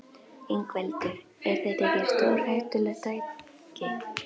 Ingveldur: Er þetta ekki stórhættulegt tæki?